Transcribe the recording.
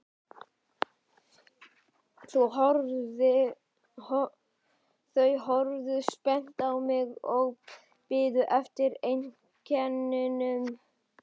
Þau horfðu spennt á mig og biðu eftir einkennunum.